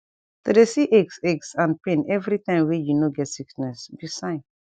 to de see aches aches and pain every time went you no get sickness be sign